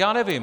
Já nevím.